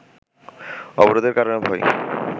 অবরোধের কারণে ভয়ে